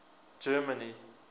germany